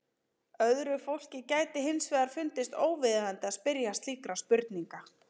Öðru fólki gæti hins vegar fundist óviðeigandi að spyrja slíkra spurninga.